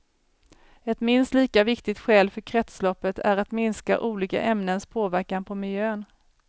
Ett minst lika viktigt skäl för kretsloppet är att minska olika ämnens påverkan på miljön.